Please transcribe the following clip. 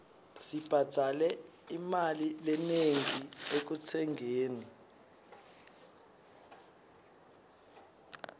sibhadale imali lenengi ekutsengeni